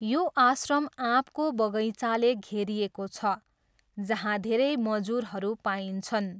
यो आश्रम आँपको बगैँचाले घेरिएको छ, जहाँ धेरै मजुरहरू पाइन्छन्।